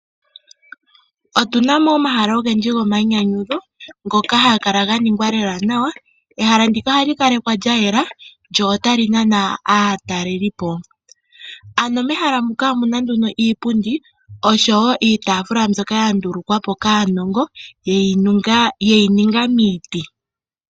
Otu na mo omahala ogendji gomainyanyudho ngoka haga kala ga ningwa lela nawa. Ehala ndika ohali kalekwa lya yela lyo otali nana aatalelipo. Mehala muka nduno iipundi osho wo iitaafula mbyoka ya ndulukwa po kaanongo ye yi ninga miiiti.